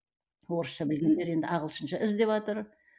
орысша білгендер енді ағылшынша іздеватыр